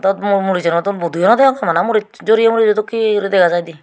mot murisunot budu yo naw deyongey bana muris joreye muris dokkey guri dega jaidey.